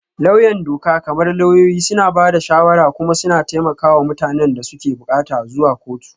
Lauyan doka, kamar lauyoyi, suna ba da shawara kuma suna taimaka wa mutanen da suke buƙatar zuwa kotu.